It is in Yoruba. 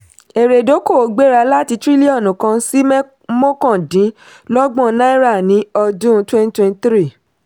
èrè ìdókòwò gbéra láti tírílíọ̀nù kan sí mọ́kàndínlọ́gbọ̀n náírà ní ọdún twenty twenty three